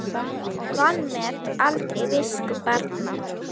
Vanmet aldrei visku barna.